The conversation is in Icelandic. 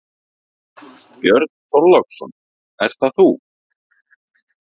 Björn Þorláksson: Er það þú?